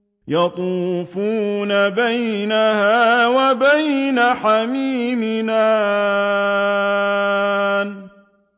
يَطُوفُونَ بَيْنَهَا وَبَيْنَ حَمِيمٍ آنٍ